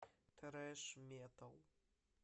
трэш метал